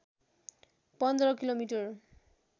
१५ kilometre